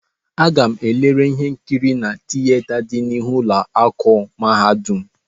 Aga-m elere ihe nkiri na tieta dị n'ihu ụlọ akụ mahadum.